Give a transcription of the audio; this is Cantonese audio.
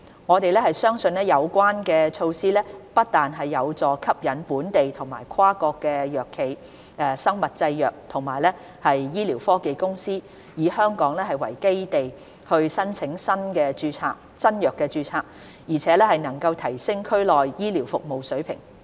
我們相信有關措施不但有助吸引本地和跨國藥企、生物製藥和醫療科技公司以香港為基地申請新藥註冊，而且能夠提升區內醫療服務的水平。